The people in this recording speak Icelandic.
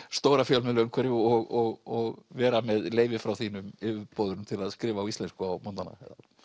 stóra fjölmiðlaumhverfi og vera með leyfi hjá þínum yfirboðurum til að skrifa á íslensku á morgnanna